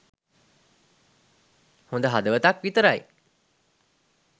හොඳ හදවතක් විතරයි.